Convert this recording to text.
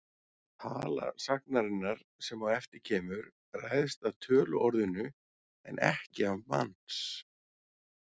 Tala sagnarinnar, sem á eftir kemur, ræðst af töluorðinu en ekki af manns.